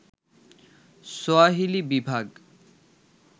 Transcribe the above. Swahili বিভাগ